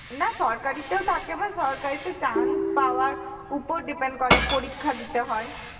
না সরকারিতেও থাকে বা সরকারি তে chance পাওয়ার উপর depend করে পরীক্ষা দিতে হয়